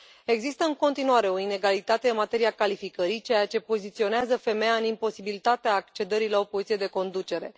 Există, în continuare, o inegalitate în materia calificării, ceea ce poziționează femeia în imposibilitatea accederii la o poziție de conducere.